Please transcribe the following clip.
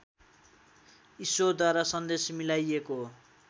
ईश्वरद्वारा सन्देश मिलाइयको